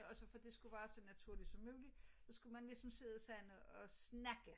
Og så for det skulle være så naturligt som mulig så skulle man ligesom sidde sådan og snakke